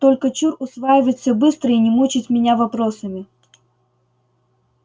только чур усваивать всё быстро и не мучить меня вопросами